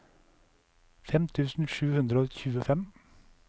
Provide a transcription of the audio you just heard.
fem tusen sju hundre og tjuefem